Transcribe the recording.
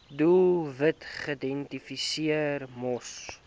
doelwitte geïdentifiseer moes